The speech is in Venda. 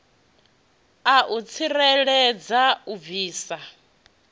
a u tsireledza u bvisa